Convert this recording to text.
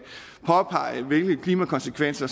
påpege hvilke klimakonsekvenser